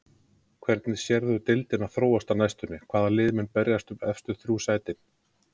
Hvernig sérðu deildina þróast á næstunni, hvaða lið munu berjast um efstu þrjú sætin?